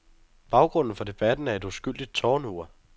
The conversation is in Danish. Baggrunden for debatten er et uskyldigt tårnur.